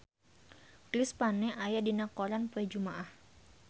Chris Pane aya dina koran poe Jumaah